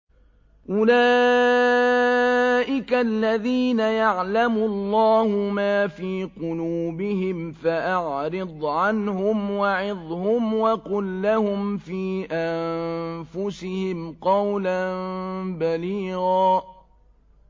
أُولَٰئِكَ الَّذِينَ يَعْلَمُ اللَّهُ مَا فِي قُلُوبِهِمْ فَأَعْرِضْ عَنْهُمْ وَعِظْهُمْ وَقُل لَّهُمْ فِي أَنفُسِهِمْ قَوْلًا بَلِيغًا